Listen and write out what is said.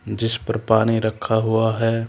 जिस पर पानी रखा हुआ है।